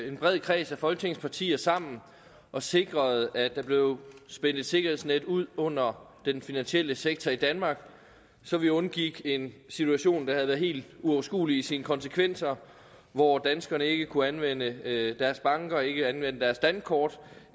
en bred kreds af folketingets partier sammen og sikrede at der blev spændt et sikkerhedsnet ud under den finansielle sektor i danmark så vi undgik en situation været helt uoverskuelig i sine konsekvenser og hvor danskerne ikke kunne anvende deres banker ikke anvende deres dankort og